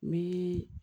Me